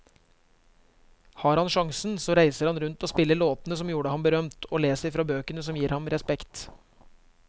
Har han sjansen så reiser han rundt og spiller låtene som gjorde ham berømt, og leser fra bøkene som gir ham respekt.